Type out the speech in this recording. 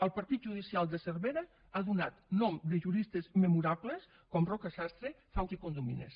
el partit judicial de cervera ha donat noms de juristes memorables com roca sastre faus i condomines